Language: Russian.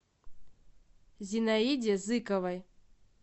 зинаиде зыковой